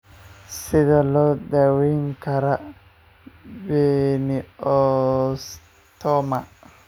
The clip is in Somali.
Sidee loo daweyn karaa pineocytoma?